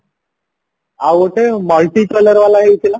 ଆଉ ଗୋଟେ multi color ବାଲା ହେଇଥିଲା